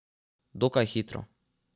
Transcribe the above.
Dokaj hitro.